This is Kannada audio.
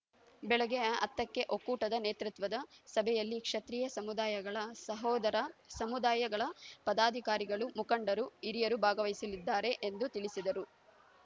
ಬೆಳಗ್ಗೆ ಹತ್ತಕ್ಕೆ ಒಕ್ಕೂಟದ ನೇತೃತ್ವದ ಸಭೆಯಲ್ಲಿ ಕ್ಷತ್ರಿಯ ಸಮುದಾಯಗಳ ಸಹೋದರ ಸಮುದಾಯಗಳ ಪದಾಧಿಕಾರಿಗಳು ಮುಖಂಡರು ಹಿರಿಯರು ಭಾಗವಹಿಸಲಿದ್ದಾರೆ ಎಂದು ತಿಳಿಸಿದರು